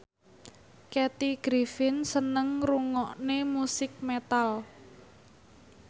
Kathy Griffin seneng ngrungokne musik metal